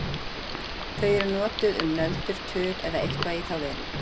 Þau eru notuð um nöldur, tuð eða eitthvað í þá veru.